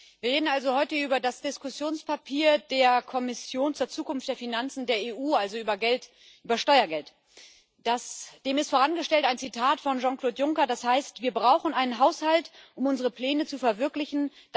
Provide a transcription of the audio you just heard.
Wir reden also heute über das Diskussionspapier der Kommission zur Zukunft der Finanzen der EU, also über Steuergeld. Dem ist vorangestellt ein Zitat von Jean Claude Juncker, das heißt Wir brauchen einen Haushalt, um unsere Pläne zu verwirklichen.